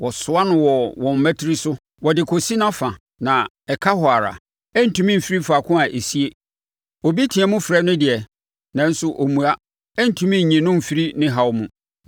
Wɔsoa no wɔ wɔn mmatire so, wɔde kɔsi nʼafa, na ɛka hɔ ara. Ɛrentumi mfiri faako a esie. Obi team frɛ no deɛ, nanso ɔmmua; ɛrentumi nyi no mfiri ne haw mu.